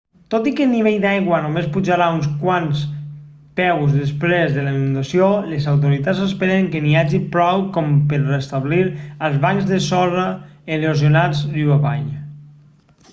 tot i que el nivell d'aigua només pujarà uns quants peus després de la inundació les autoritats esperen que n'hi hagi prou com per restablir els bancs de sorra erosionats riu avall